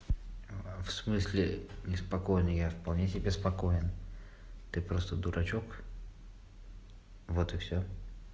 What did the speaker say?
в смысле не спокойно я вполне себе спокоен ты просто дурачок вот и всё